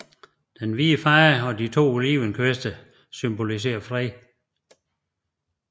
Den hvide farve og de to olivenkviste symboliserer fred